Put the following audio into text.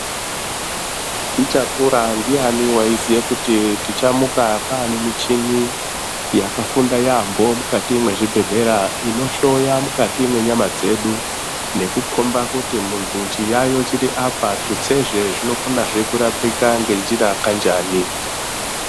Tichakura ndiyani waiziye kuti tichamuka kwane muchini yakafunda yaampo mukati mwezvibhedhlera inohloya mukati mwenyama dzedu nekukomba kuti muntu chiyaiyo chiri apa tutsezve zvinokonezve kurapika ngenjira kanjani.